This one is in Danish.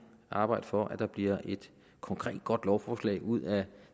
arbejde for at der bliver et konkret godt lovforslag ud af